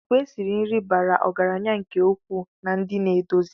Àkwá esi nri bara ọgaranya nke ukwuu na ndi naedozi